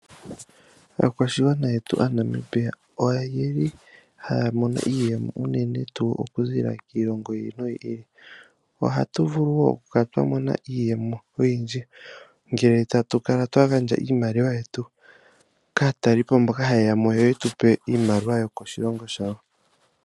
Aakwashigwana yetu aaNamibia oyeli haya mono iiyemo unene tuu oku ziilila kiilongo yi ili noyi ili. Ohatu vulu wo okukala twa mona iiyemo oyindji ngele tatu kala twa gandja iimaliwa yetu kaatalelipo mboka haye ya mo yo yetupe iimaliwa yokoshilongo yawo.